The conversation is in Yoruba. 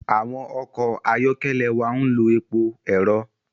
Awọn ọkọ ayọkẹlẹ wà n ló èpò ẹrọ